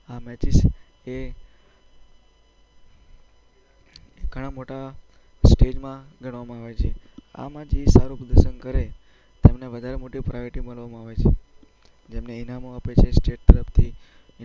Matches છે એ ઘણા મોટા સ્ટેજમાં ગણવામાં આવે છે. આમાં જે સારું પ્રદર્શ કરે તેમને વધારે મોટી પ્રાયોરિટી માનવામાં આવે છે, જેમને ઈનામો આપે છે સ્ટેટ તરફથી